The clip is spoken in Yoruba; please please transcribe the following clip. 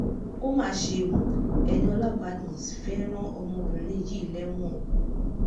Ó mà ṣe ò, Ẹniola badmus fẹ́ẹ́ ran ọmọbìnrin yìí lẹ́wọ̀n o